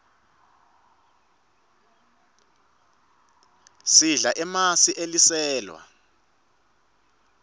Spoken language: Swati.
sidla emasi eliselwa